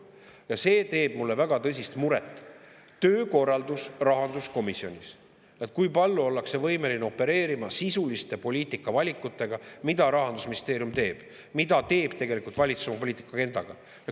Ja see teeb mulle väga tõsist muret: töökorraldus rahanduskomisjonis, kui palju ollakse võimeline opereerima sisuliste poliitikavalikutega, mida Rahandusministeerium teeb, mida teeb valitsus oma poliitika agendaga.